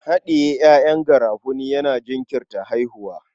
Haɗiye ƴaƴan garafuni yana jinkirta haihuwa.